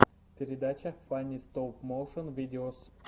передача фанни стоп моушен видеос